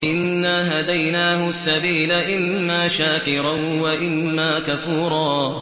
إِنَّا هَدَيْنَاهُ السَّبِيلَ إِمَّا شَاكِرًا وَإِمَّا كَفُورًا